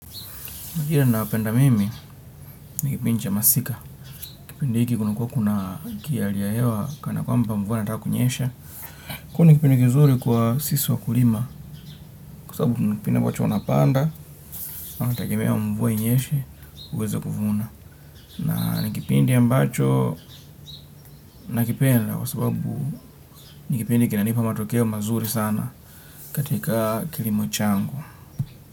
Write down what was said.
Majira nayapenda mimi, nikipindi cha masika. Kipindi hiki kunakua kuna kiali ya hewa, kana kwamba mvua inata kunyesha. Hu nikipindi kizuri kwa sisi wa kulima, kwa sabu nikipindi ya mbacho wanapanda, wanatagemea mvua inyeshe uweze kuvuna. Na nikipindi ambacho nakipenda, kwa sababu nikipindi kinanipa matokeo mazuri sana katika kilimo changu.